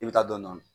I bɛ taa dɔndɔni